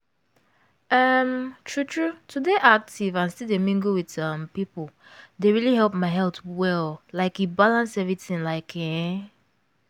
um true true to dey active and still dey mingle with um people dey really help my health well like e balance everything like ehn.